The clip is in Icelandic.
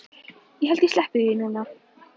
Ég held ég sleppi því núna.